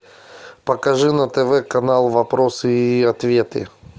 покажи на тв канал вопросы и ответы